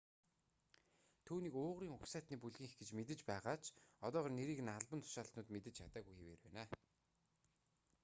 түүнийг уйгурын угсаатны бүлгийнх гэж мэдэж байгаа ч одоогоор нэрийг нь албан тушаалтнууд мэдэж чадаагүй хэвээр байна